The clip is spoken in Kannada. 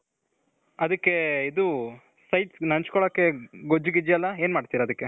ಅದಿಕ್ಕೆ ಇದು sides ನೆನ್ಚ್ಕೊಳೋಕೆ ಗೊಜ್ಜು ಗಿಜ್ಜು ಎಲ್ಲಾ ಏನ್ ಮಾಡ್ತಿರ ಅದಿಕ್ಕೆ.